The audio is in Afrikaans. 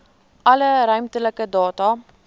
alle ruimtelike data